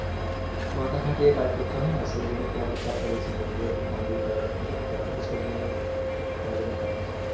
মাথা খাটিয়ে কাজ করতে হয় না সেইজন্য তোমাদের চাপটা বেশি পরে যেহেতু computer হ্যান ত্যান এসব নিয়ে সারাদিন কাজ